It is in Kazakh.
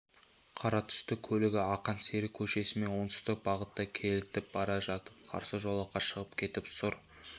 қара түсті көлігі ақан сері көшесімен оңтүстік бағытта кетіп бара жатып қарсы жолаққа шығып кетіп сұр